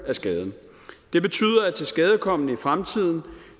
af skaden det betyder at tilskadekommen i fremtiden